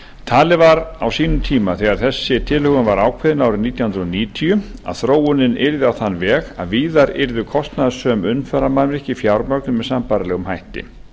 talið var á sínum tíma þegar þessi tilhögun var ákveðin árið nítján hundruð níutíu að þróunin yrði á þann veg að víðar yrðu kostnaðarsöm umferðarmannvirki fjármögnuð með sambærilegum hætti